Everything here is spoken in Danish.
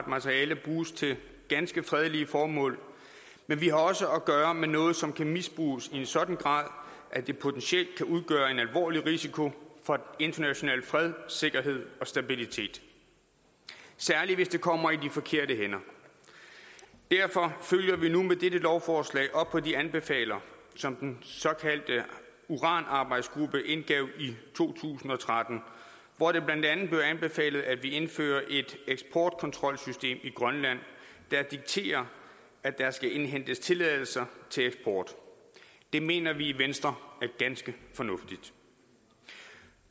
materiale bruges til ganske fredelige formål men vi har også at gøre med noget som kan misbruges i en sådan grad at det potentielt kan udgøre en alvorlig risiko for den internationale fred sikkerhed og stabilitet særlig hvis det kommer i de forkerte hænder derfor følger vi nu med dette lovforslag op på de anbefalinger som den såkaldte uranarbejdsgruppe indgav i to tusind og tretten hvor det blandt andet blev anbefalet at vi indfører et eksportkontrolsystem i grønland der dikterer at der skal indhentes tilladelser til eksport det mener vi i venstre er ganske fornuftigt